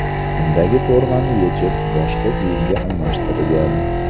Undagi formani yechib, boshqa kiyimga almashtirgan.